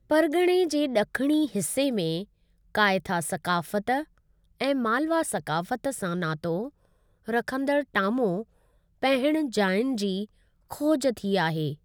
परिगि॒णे जे ॾखिणी हिस्से में कायथा सक़ाफ़त ऐं मालवा सक़ाफ़त सां नातो रखंदड़ु टामो पहणु जायुनि जी खोज थी आहे।